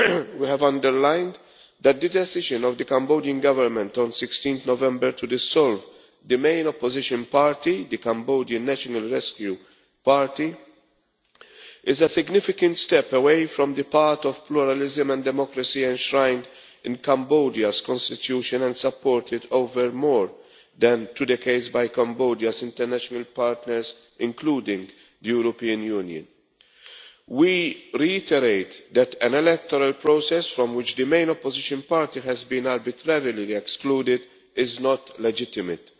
We have underlined that the decision of the Cambodian Government on 16 November to dissolve the main opposition party, the Cambodian National Rescue Party is a significant step away from the path of pluralism and democracy enshrined in Cambodia's Constitution and supported for more than two decades by Cambodia's international partners, including the European Union. We reiterate that an electoral process from which the main opposition party has been arbitrarily excluded is not legitimate.